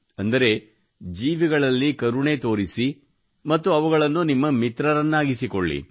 ಅಂದರೆ ಜೀವಿಗಳಲ್ಲಿ ಕರುಣೆ ತೋರಿಸಿ ಮತ್ತು ಅವುಗಳನ್ನು ನಿಮ್ಮ ಮಿತ್ರರನ್ನಾಗಿಸಿಕೊಳ್ಳಿ